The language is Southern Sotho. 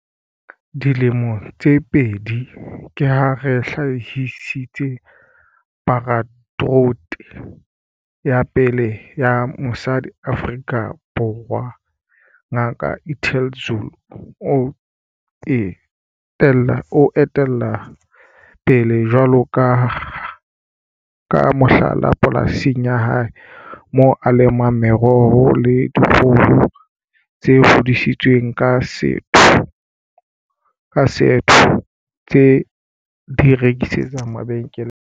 Dilemong tse pedi, ke ha re hlahisitse Paratrooper ya pele ya mosadi Afrika Borwa Ngaka Ethel Zulu o etella pele jwalo ka mohlala polasing ya hae moo a lemang meroho le dikgoho tse hodisitsweng ka setho tse a di rekisetsang mabenkele a maholo.